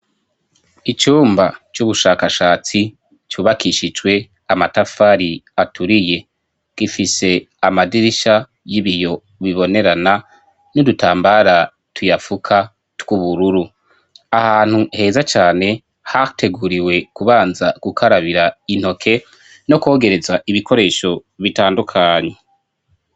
Icumba c'ubushakashatsi cubakishicwe amatafari aturiye. Gifise amadirisha y'ibiyo bibonerana n'udutambara tuyafuka tw'ubururu. Ahantu heza cane hateguriwe kubanza gukarabira intoke, no kwogereza ibikoresho bitandukanye.